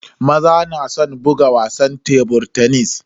Maza na san buga wasan tebur tenis.